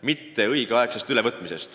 ülevõtmisega hilinemisest.